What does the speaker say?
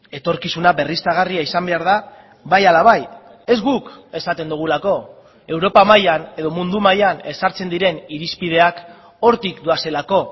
etorkizuna berriztagarria izan behar da bai ala bai ez guk esaten dugulako europa mailan edo mundu mailan ezartzen diren irizpideak hortik doazelako